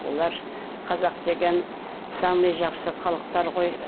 олар қазақ деген самый жақсы халықтар ғой